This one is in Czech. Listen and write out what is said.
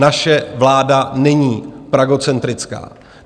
Naše vláda není pragocentrická.